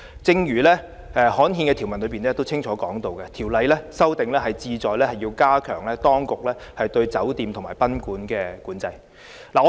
正如刊憲的條文清楚列明，修訂有關條例是旨在加強當局對酒店及賓館的規管和管制。